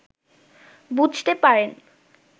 বুঝতে পারেন